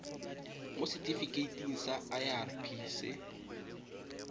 mo setifikeiting sa irp se